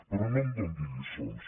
però no em doni lliçons